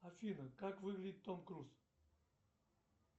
афина как выглядит том круз